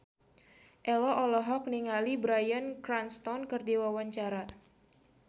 Ello olohok ningali Bryan Cranston keur diwawancara